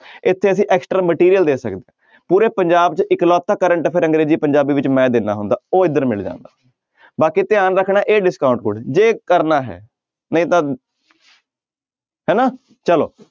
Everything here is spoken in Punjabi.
ਇੱਥੇ ਅਸੀਂ extra material ਦੇ ਪੂਰੇ ਪੰਜਾਬ 'ਚ ਇੱਕਲੋਤਾ current affair ਅੰਗਰੇਜ਼ੀ ਪੰਜਾਬੀ ਵਿੱਚ ਮੈਂ ਦਿੰਦਾ ਹੁੰਦਾ ਉਹ ਇੱਧਰ ਮਿਲ ਜਾਂਦਾ, ਬਾਕੀ ਧਿਆਨ ਰੱਖਣਾ ਹੈ ਇਹ discount code ਜੇ ਕਰਨਾ ਹੈ ਨਹੀਂ ਤਾਂ ਹਨਾ ਚਲੋ